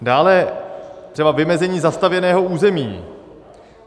Dále třeba vymezení zastavěného území.